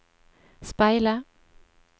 speile